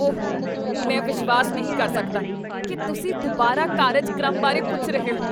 ਓਹ, ਮੈਂ ਵਿਸ਼ਵਾਸ ਨਹੀਂ ਕਰ ਸਕਦਾ ਕੀ ਤੁਸੀਂ ਦੁਬਾਰਾ ਕਾਰਜਕ੍ਰਮ ਬਾਰੇ ਪੁੱਛ ਰਹੇ ਹੋ!